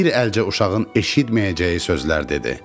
Bir əlcə uşağın eşitməyəcəyi sözlər dedi: